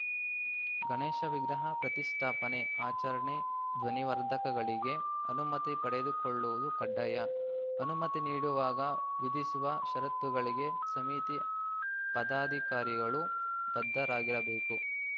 ಗಣೇಶ ವಿಗ್ರಹ ಪ್ರತಿಷ್ಠಾಪನೆ ಆಚರಣೆ ಧ್ವನಿವರ್ಧಕಗಳಿಗೆ ಅನುಮತಿ ಪಡೆದುಕೊಳ್ಳುವುದು ಕಡ್ಡಾಯ ಅನುಮತಿ ನೀಡುವಾಗ ವಿಧಿಸುವ ಷರತ್ತುಗಳಿಗೆ ಸಮಿತಿ ಪದಾಧಿಕಾರಿಗಳು ಬದ್ಧರಾಗಿರಬೇಕು